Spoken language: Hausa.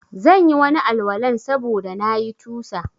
Zanyi Wani Al- walan sabuda na yi tusa